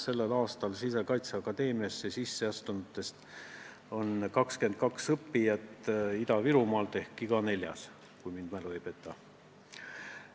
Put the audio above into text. Sellel aastal Sisekaitseakadeemiasse sisseastunutest on 22 õppijat Ida-Virumaalt ehk iga neljas, kui mälu mind ei peta.